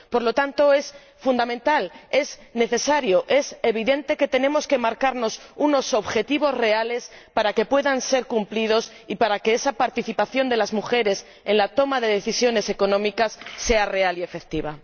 Por lo tanto, es fundamental, es necesario, es evidente que tenemos que marcarnos unos objetivos reales para que puedan ser cumplidos y para que esa participación de las mujeres en la toma de decisiones económicas sea real y efectiva.